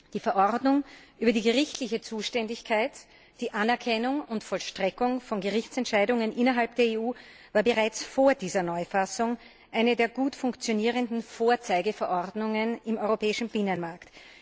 Die Verordnung über die gerichtliche Zuständigkeit, die Anerkennung und Vollstreckung von Gerichtsentscheidungen innerhalb der EU war bereits vor dieser Neufassung eine der gut funktionierenden Vorzeigeverordnungen im europäischen Binnenmarkt.